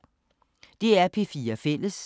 DR P4 Fælles